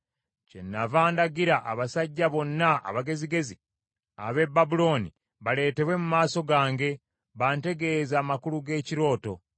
Kyennava ndagira abasajja bonna abagezigezi ab’e Babulooni baleetebwe mu maaso gange bantegeeze amakulu g’ekirooto.